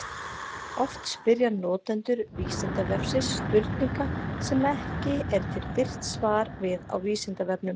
Oft spyrja notendur Vísindavefsins spurninga sem ekki er til birt svar við á Vísindavefnum.